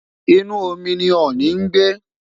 inu omi ni ọọni n gbe